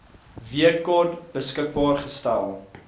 wkod beskikbaar gestel